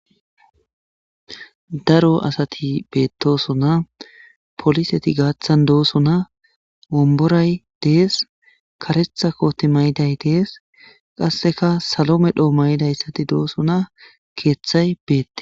daro asati beettosonna poliseti gaaththan doosona omboray dees karetha koti mayiday dees qasseka salo medho may7idayssati doosuna keeththay beette